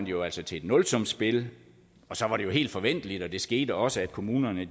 jo altså til et nulsumsspil og så var det jo helt forventeligt og det skete også at kommunerne